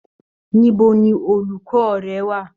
Níbo ni olukọ rẹ wà?